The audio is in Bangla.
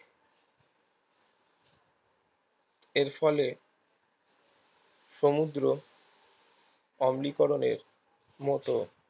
এরফলে সমুদ্র অবনীকরণের মতো